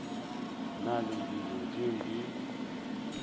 na le dilo tšeo di